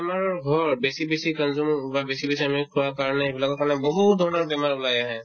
বেমাৰৰ ঘৰ বেছি বেছি kamjor নহ'বা বেছি বেছি আমিও খোৱা কাৰণে এইবিলাকৰ কাৰণে বহুত ধৰণৰ বেমাৰ ওলাই আহে